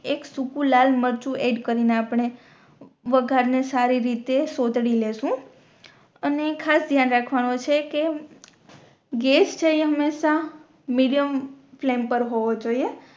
એક સુખું લાલ મરચું એડ કરીને આપણે વઘાર ને સારી રીતે સૌટરી લેશું અને ખાસ ધાયન રાખવાનો છે કે ગેસ ફ્લેમ હમેશા મીડિયમ ફ્લેમ પર હોવુ જોયે